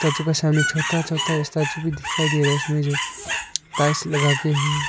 Statue के सामने छोटा छोटा स्टैचू भी दिखाई दे रहा है उसमें जो टाइल्स लगा के है।